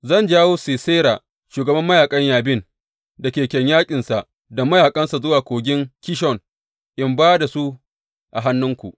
Zan jawo Sisera, shugaban mayaƙan Yabin, da keken yaƙinsa da mayaƙansa zuwa Kogin Kishon in ba da su a hannunku.’